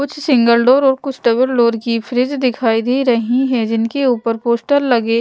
कुछ single door और कुछ डबल डोर की फ्रिज दिखाई दे रही है जिनके ऊपर पोस्टर लगे--